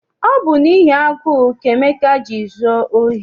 Ọ bụ n'ihi agụụ ka Emeka ji zụọ ohi.